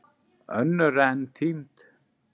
Önnur eru enn týnd.